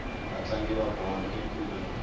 vatlangi va bolo i khume nwe